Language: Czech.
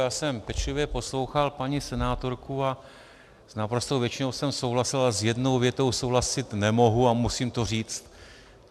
Já jsem pečlivě poslouchal paní senátorku a s naprostou většinou jsem souhlasil, ale s jednou větou souhlasit nemohu a musím to říct.